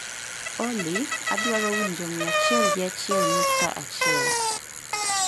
olly adwaro winjo mia achiel gi achiel nukta achiel